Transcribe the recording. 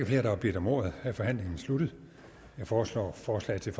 flere der har bedt om ordet er forhandlingen sluttet jeg foreslår at forslaget til